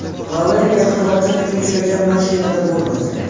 Valeriya halokatga uchragan mashinada bo‘lmagan.